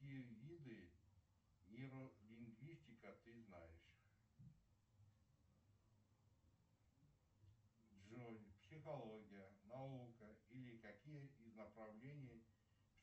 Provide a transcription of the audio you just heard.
какие виды нейролингвистика ты знаешь джой психология наука или какие из направлений